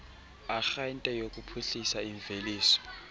arhente yokuphuhlisa imveliso